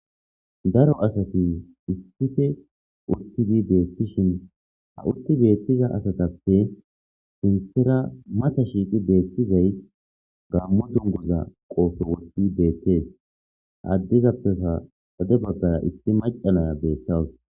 Daro asati issife urtidi beettishin ha urti beettiza asatappe sintera mata shiiqi beettizay gammo dungoza qoofo woti beettees haaddizappeha hade baggaya isti macanaya beettawus.